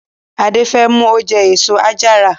Ade femu oje eso-àjara.